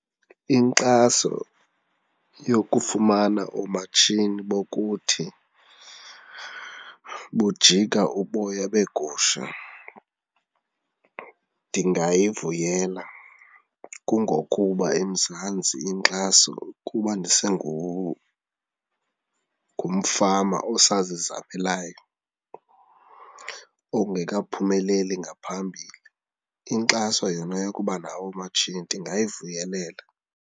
Inkxaso yokufumana oomatshini bokuthi bujika uboya beegusha ndingayivuyela. Kungokuba eMzantsi inkxaso ukuba ngumfama osazizamelayo ongekaphumeleli ngaphambili. Inkxaso yona yokuba nawo oomatshini ndingayivuyelela.